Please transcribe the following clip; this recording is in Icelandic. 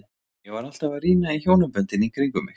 Ég var alltaf að rýna í hjónaböndin í kring um mig.